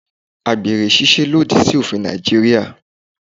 Àgbèrè ṣíṣe lòdì sí òfin Nàìjíríà.